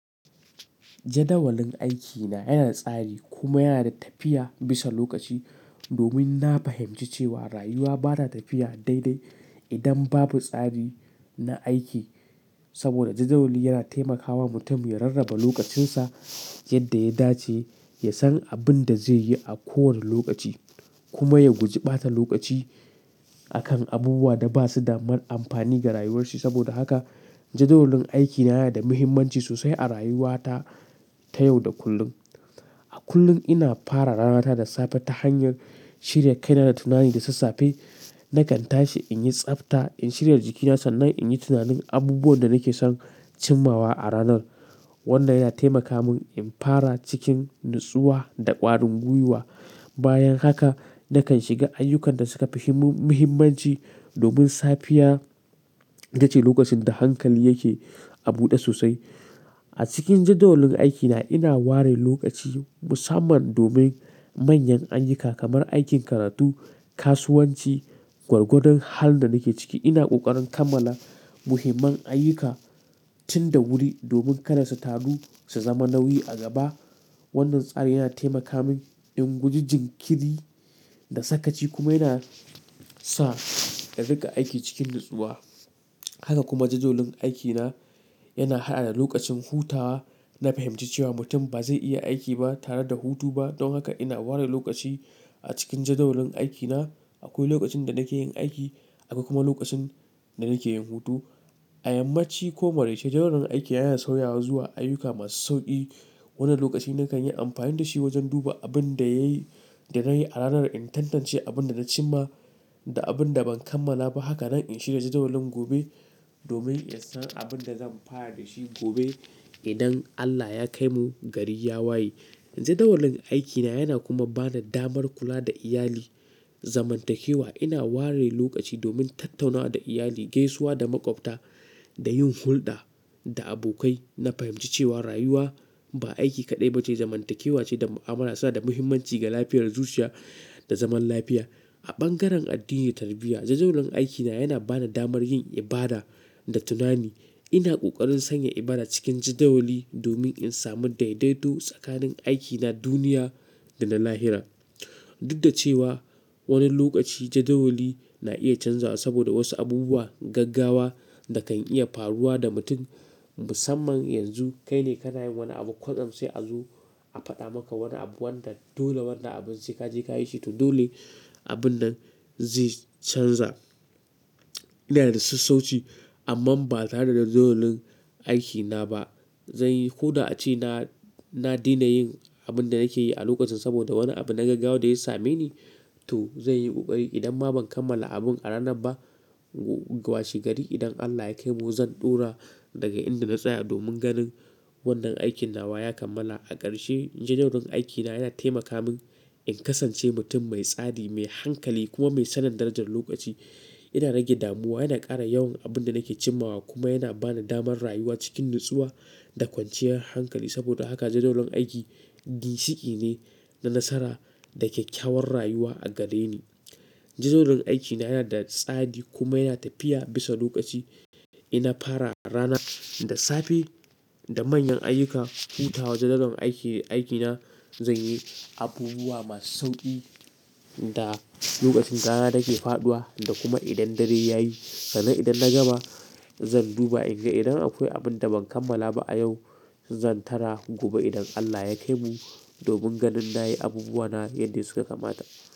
Jadawalin aikina yana da tsari kuma yana da tafiya bisa lokaci. Domin na fahimci cewa rayuwa ba ta tafiya daidai idan babu tsari na aiki. Saboda jadawali yana taimakawa mutum ya rarraba lokacinsa yadda ya dace, ya san abin da zai yi a kowane lokaci kuma ya guji bata lokaci akan abubuwa da ba su da m amfani ga rayuwarshi. Saboda haka jadawalin aikina yana da muhimmanci sosai a rayuwata ta yau da kullum. A kullum ina fara ranata da safe ta hanyar shirya kai na da tunani da sassafe. Nakan tashi in yi tsabta, in shirya jikina sannan in yi tunanin abubuwan da nake son cimmawa a ranar. Wannan yana taimaka mun in fara cikin natsuwa da ƙwarin gwiwa. Bayan haka nakan shiga ayyukan da suka fi mu-muhimmmanci domin safiya ita ce lokacin da hankali yake a buɗe sosai. A cikin jadawalin aikina ina ware lokaci musamman domin manyan ayyuka kamar aikin karatu, kasuwanci, gwargwadon halin da nake ciki. Ina ƙoƙarin kammala muhimman ayyuka tun da wuri domin kar su taru su zama nauyi a gaba. Wannan tsari yana taimaka mun in guji jinkiri da sakaci kuma yana sa in riƙa aiki cikin natsuwa. Haka kuma jadawalin aikina yana haɗa da lokacin hutawa. Na fahimci cewa mutum ba zai iya aiki ba tare da hutu ba. Don haka ina ware lokaci a cikin jadawalin aikina. Akwai lokacin da nake yin aiki akwai kuma lokacin da nake yin hutu. A yammaci ko maraice jadawalin aikina yana sauyawa zuwa ayyuka masu sauƙi. Wannan lokaci nakan yi amfani da shi wajen duba abin da yayi-- da nayi a ranar, in tantance abin da na cimma da abin da ban kammala ba. Haka nan in shirya jadawalin gobe domin in san abin da zan fara da shi gobe idan Allah ya kai mu gari ya waye. Jadawalin aikina yana kuma ba da damar kula da iyali zamantakewa. Ina ware lokaci domin tattaunawa da iyali, gaisuwa da maƙwabta da yin hulɗa da abokai. Na fahimci cewa rayuwa ba aiki kaɗai ba ce, zamantakewa ce da mu'amala suna da muhimmanci ga lafiyar zuciya da zaman lafiya. A bangaren addini tarbiyya jadawalin aikina yana bani damar yin ibada da tunani. Ina ƙoƙarin sanya ibada cikin jadawali domin in sami daidaito tsakanin aikina duniya da na lahira. Duk da cewa wani lokaci jadawali na iya canzawa saboda wasu abubuwa gaggawa da kan iya faruwa da mutum musamman yanzu kai ne ka na yin wani abu kwatsam sai a zo a faɗa maka wani abu wanda dole wannan abun sai ka je ka yi shi to dole abin nan zai canza. Ina da sassauci amman ba tare da jadawalin aikina ba. Zanyi ko da a ce na, na daina yin abin da nake yi a lokacin saboda wani abu na gaggawa da ya same ni to zan yi ƙoƙari idan ma ban kammala abun a ranan ba gwashi gari idan Allah ya kai mu zan ɗora daga inda na tsaya domin ganin wannan aikin na wa ya kammala. A ƙarshe jadawalin aikina yana taimaka mun in kasance mutum mai tsari, mai hankali kuma mai sanin darajar lokaci. Yana rage damuwa, yana ƙara yawan abin da nake cimmawa kuma yana ba ni damar rayuwa cikin natsuwa da kwanciyar hankali. Saboda haka jadawalin aiki ginshiki ne na nasara da kyakkyawar rayuwa a gare ni. Jadawalin aikina yana da tsari kuma yana tafiya bisa lokaci. Ina fara rana da safe da manyan ayyuka. Hutawa jadawalin aiki, aikina. Zanyi abubuwa masu sauƙi da lokacin rana take faɗuwa da kuma idan dare ya yi. Sannan idan na gama zan duba in ga idan akwai abin da ban kammala ba a yau zan tara gobe idan Allah ya kai mu domin ganin na yi abubuwa na yadda suka kamata.